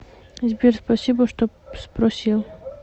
сбер спасибо что спросил